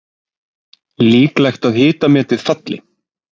Líklegt að hitametið falli